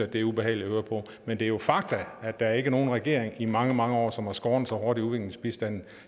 det er ubehageligt at høre på men det er jo fakta at der ikke er nogen regering i mange mange år som har skåret så hårdt i udviklingsbistanden